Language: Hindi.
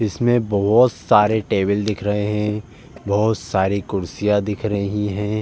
इसमें बोहोत सारे टेबल दिख रहे है बोहोत सारी कुर्सियाँ दिख रही हैं।